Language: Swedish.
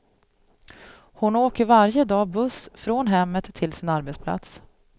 Hon åker varje dag buss från hemmet till sin arbetsplats.